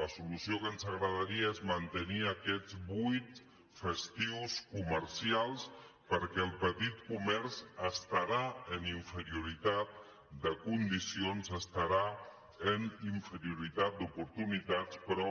la solució que ens agradaria és mantenir aquests vuit festius comercials perquè el petit comerç estarà en inferioritat de condicions estarà en inferioritat d’oportunitats però